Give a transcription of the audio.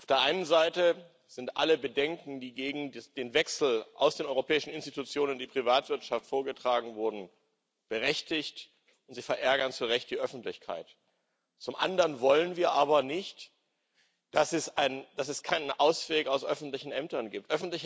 Auf der einen Seite sind alle Bedenken, die gegen den Wechsel aus den europäischen Institutionen in die Privatwirtschaft vorgetragen wurden, berechtigt, sie verärgern zu Recht die Öffentlichkeit. Zum anderen wollen wir aber nicht, dass es keinen Ausweg aus öffentlichen Ämtern gibt.